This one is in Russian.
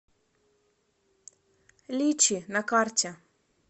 личи на карте